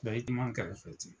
Bari i duman n kɛrɛfɛ ten.